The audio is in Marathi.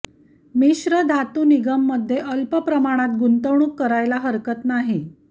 मिश्र धातू निगममध्ये अल्प प्रमाणात गुंतवणूक करायला हरकत नाही